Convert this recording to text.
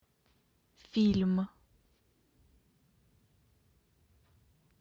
фильм